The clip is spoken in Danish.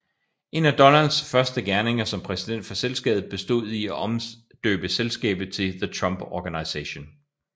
En af Donalds første gerninger som præsident for selskabet bestod i at omdøbe selskabet til The Trump Organization